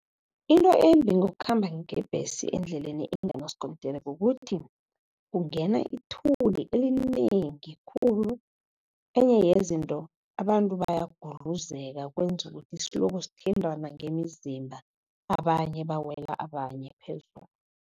Into embi ngokukhamba ngebhesi endleleni enganaskontiri, kukuthi kungena ithuli elinengi khulu. Enye yezinto abantu bayagudluzeka, kwenza ukuthi siloko sithintana ngemizimba, abanye bawela abanye phezulu.